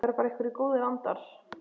Það eru bara einhverjir góðir andar.